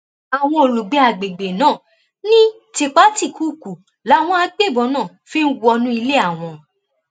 àwọn olùgbé àgbègbè náà ní tìpátìkúùkù làwọn agbébọn náà fi ń wọnú ilé àwọn